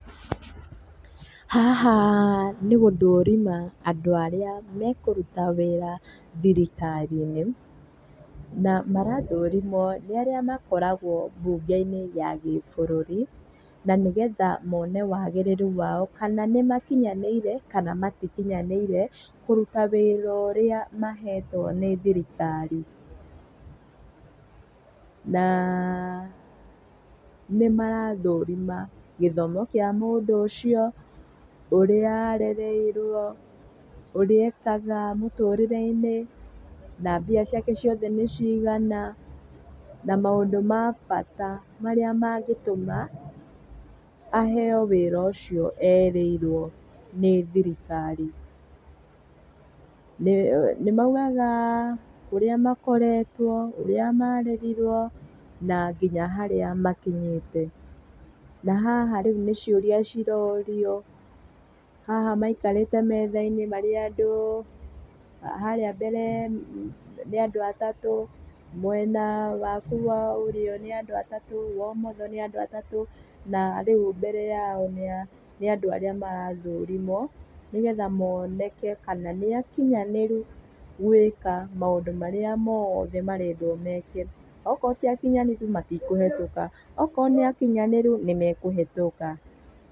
Haha nĩgũthũrima andũ arĩa mekũruta wĩra thirikari-inĩ. Na marathũrimwo nĩarĩa makoragwo mbunge-inĩ ya kĩbũrũri na nĩgetha mone wagĩrĩru wao kana nĩmakinyanĩire kana matikinyanĩire kũruta wĩra ũrĩa mahetwo nĩ thirikari. Na nĩmarathũrima gĩthomo kĩa mũndũ ũcio, ũria arereirwo, ũria ekaga mũtũrĩreinĩ na mbia ciake ciothe nĩ cigana na maũndũ ma bata marĩa mangĩtũma aheo wĩra ucio erĩirwo nĩ thirikari. Nĩ maugaga kũria makoretwo, ũrĩa marerirwo na nginya harĩa makinyĩte. Na haha rĩu nĩ ciũria cirorio, haha maikarĩte methainĩ marĩ andũ. Harĩa mbere nĩ andũ atatũ, mwena waku wa ũrio nĩ andũ atatũ wa umotho ni andu atatu na riu mbere yao ni andu arĩa marathũrimwo nĩgetha moneke kana nĩakinyanĩru gwĩka maũndũ marĩa mothe marendwo meke. Angikorwo ti akinyanĩru matikũhĩtũka, angikorwo nĩ akinyanĩru nĩmekũhĩtũka